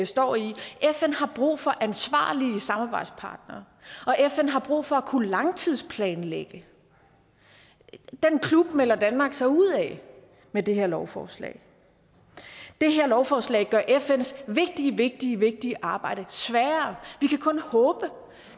står i fn har brug for ansvarlige samarbejdspartnere og fn har brug for at kunne langtidsplanlægge den klub melder danmark sig ud af med det her lovforslag det her lovforslag gør fns vigtige vigtige vigtige arbejde sværere vi kan kun håbe